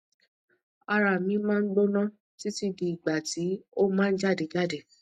ara mi ma n gbona titi di igba ti o ma jade jade